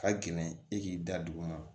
Ka gɛlɛn e k'i da dugu ma